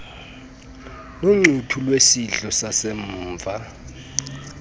noncuthu lwesidlo sasemva